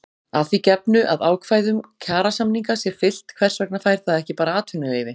Að því gefnu að ákvæðum kjarasamninga sé fylgt hvers vegna fær það ekki bara atvinnuleyfi?